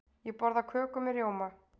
Ég borða köku með rjóma.